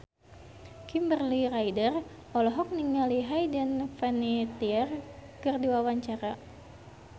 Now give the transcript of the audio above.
Kimberly Ryder olohok ningali Hayden Panettiere keur diwawancara